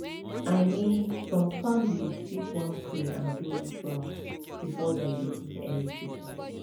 i mean some families fit wan pray or do rituals before dem begin any treatment